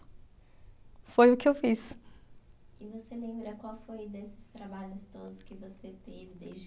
Foi o que eu fiz. E você lembra qual foi desses trabalhos todos que você teve desde